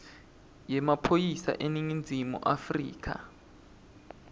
yemaphoyisa eningizimu afrika